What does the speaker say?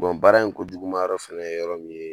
baara in kojuguman yɔrɔ fɛnɛ ye yɔrɔ min ye